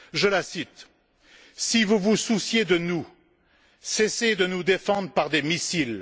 Je la cite Si vous vous souciez de nous, cessez de nous défendre par des missiles.